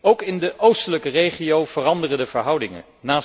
Ook in de oostelijke regio veranderen de verhoudingen.